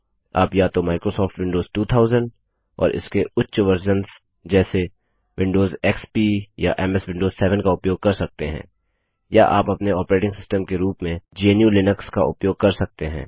आप या तो माइक्रोसॉफ्ट विंडोज 2000 और इसके उच्च वर्जन्स जैसे विंडोज एक्सपी या एमएस विंडोज 7 का उपयोग कर सकते हैं या आप अपने ऑपरेटिंग सिस्टम के रूप में gnuलिनक्स का उपयोग कर सकते हैं